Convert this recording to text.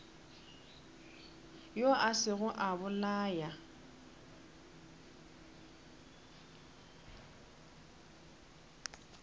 yo a sego a bolaya